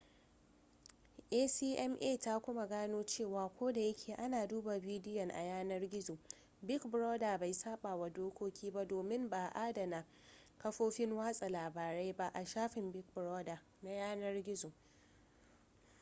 acma ta kuma gano cewa ko da yake ana duba bidiyon a yanar gizo big brother bai sabawa dokoki ba domin ba a adana kafofin watsa labarai ba a shafin big brother na yanar gizo